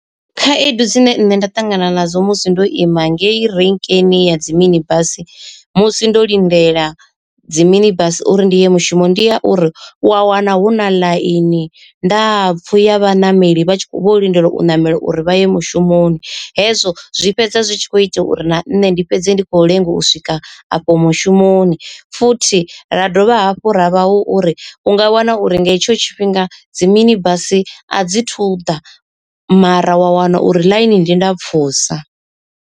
Khaedu dzine nṋe nda ṱangana nadzo musi ndo ima ngei renkeni ya dzi mini basi musi ndo lindela dzi mini bus uri ndi ye mushumo ndi ya uri, u a wana hu na ḽaini ndapfu ya vhaṋameli vha tshi kho vho lindela u ṋamela uri vha ye mushumoni. Hezwo zwi fhedza zwi tshi kho ita uri na nṋe ndi fhedze ndi khou lenga u swika afho mushumoni, futhi ra dovha hafhu ra vha hu uri u nga wana uri nga hetsho tshifhinga dzi mini basi a dzi thu ḓa mara wa wana uri ḽainini ndi ndapfhusa.